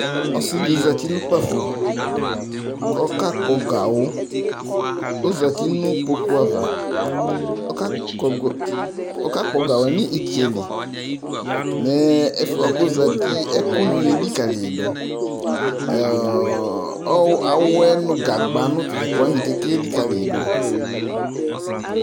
Ɔsìɖì zati nʋ ƙpafo ,ƙʋ ɔƙaƙpɔ gawʋƆzati nʋ ƙpoƙuavǝ ,ɔƙaƙpɔ gawʋɛ nʋ ìtsɛliMɛ ɛfʋƴɛbʋakʋɔzatiƴɛ ɛƙʋnì eliƙaliƴìɖʋ Ɔɔ awɛ, gagba, nʋ atatʋɛƙʋwanìƙeƙe eliƙalìƴìɖʋ